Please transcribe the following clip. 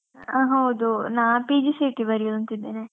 ಹಾ ಹೌದು. ನಾ PGCET ಬರಿವ ಅಂತ ಇದ್ದೇನೆ.